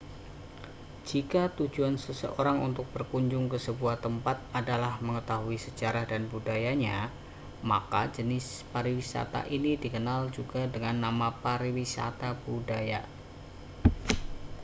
jika tujuan seseorang untuk berkunjung ke sebuah tempat adalah mengetahui sejarah dan budayanya maka jenis pariwisata ini dikenal juga dengan nama pariwisata budaya